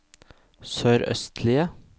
sørøstlige